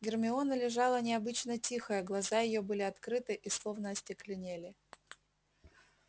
гермиона лежала необычно тихая глаза её были открыты и словно остекленели